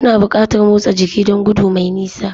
Kuna buƙatar motsa jiki don gudu mai nisa